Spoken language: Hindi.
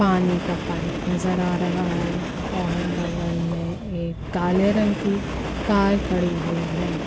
पानी का पाइप नजर आ रहा है और बगल में एक काले रंग की कार खड़ी हुई है।